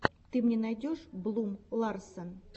ты мне найдешь блум ларсен